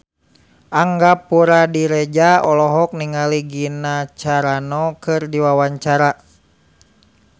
Angga Puradiredja olohok ningali Gina Carano keur diwawancara